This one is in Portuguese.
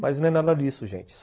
Mas não é nada disso, gente.